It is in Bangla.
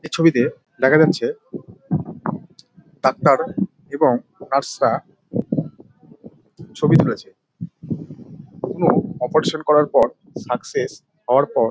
এ ছবিতে দেখা যাচ্ছে ডাক্তার এবং নার্সরা ছবি তুলেছে। কখনো অপেরেশন করার পর সাকসেস হওয়ার পর |